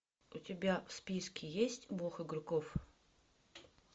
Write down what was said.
у тебя в списке есть бог игроков